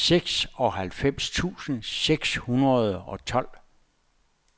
seksoghalvfems tusind seks hundrede og tolv